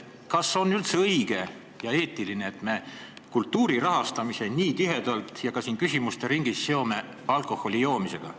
Kas on üldse õige ja eetiline, et me kultuuri rahastamise nii tihedalt ka siin küsimuste ringis seome alkoholijoomisega?